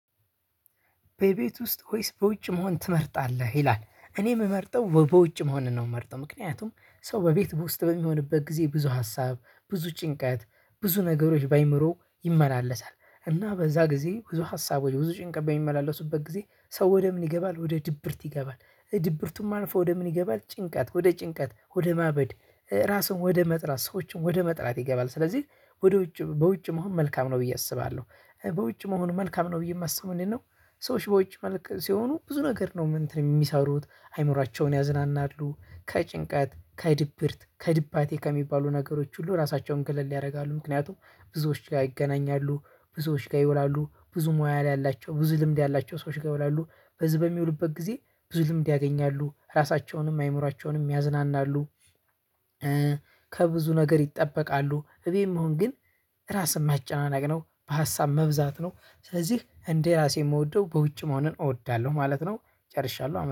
በቤት ውስጥ ሆይስ በውጭ መሆን ትመርጣለህ ይላል እኔ የምመርጠው በውጭ መሆንን ነው የምመርጠው ምክንያቱም ሰው በቤት ውስጥ በሚሆንበት ጊዜ ብዙ ሀሳብ ብዙ ጭንቀት ብዙ ነገሮች በአይምሮው ይመላለሳል እና በዛ ጊዜ ብዙ ሀሳቦች ብዙ ጭንቀት በሚመላለሱበት ጊዜ ሰው ወደ ምን ይገባል ወደ ድብርት ይገባል ድብርቱም አልፎ ወደ ምን ይገባል ጭንቀት ወደ ጭንቀት ወደ ማበድ ራስን ወደ መጥራት ሰዎችን ወደ መጥራት ይገባል ስለዚህ ወደ ውጭ በውጭ መሆን መልካም ነው ብዬ አስባለሁ በውጭ መሆኑ መልካም ነው ብዬ የማስበው። ምንድነው? ሰወቺ በውጭ መልክ ሲሆኑ ብዙ ነገር ነው እንትን የሚሰሩት አይምሮአቸውን ያዝናናሉ። ከጭንቀት ከድብርት ከድባቴ ከሚባሉ ነገሮች ሁሉ ራሳቸውን ገለል ያደርጋሉ። ምክንያቱም ብዙዎች ጋር ይገናኛሉ ብዙዎች ጋር ይውላሉ ብዙ ሙያ ላይ ያላቸው ብዙ ልምድ ያላቸው ሰዎች ጋ ይውላሉ በዚህ በሚውሉበት ጊዜ ብዙ ልምድ ያገኛሉ ራሳቸውንም አይምሯቸውንም ያዝናናሉ። ከብዙ ነገር ይጠበቃሉ። እቤት መሆን ግን ራስን ማጨናነቅ ነው በሀሳብ መብዛት ነው። ስለዚህ እንደ ራሴ የምወደው በውጭ መሆንን እወዳለሁ ማለት ነው። ጨርሻለሁ አመ